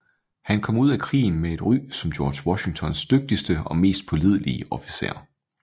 Han kom ud af krigen med et ry som George Washingtons dygtigste og mest pålidelige officer